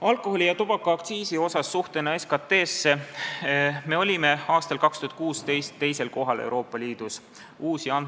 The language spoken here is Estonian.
Alkoholi- ja tubakaaktsiisi suhe SKT-sse – me olime aastal 2016 Euroopa Liidus teisel kohal.